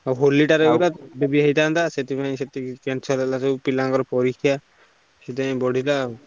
ଆଉ ହୋଲି ଟାରେ ବ ଭୋଜି ହେଇଥାନ୍ତା ସେଥିପାଇଁ ସବୁ cancel ହେଲା ବା ପିଲା ଙ୍କର ସବୁ ପରୀକ୍ଷା ସେଥିପାଇଁ ବଢିଲା ଆଉ।